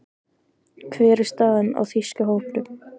Hver er staðan á þýska hópnum?